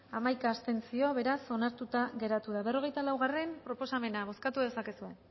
hamaika abstentzio beraz onartuta geratu da berrogeita laugarrena proposamena bozkatu dezakezue